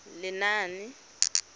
lenaane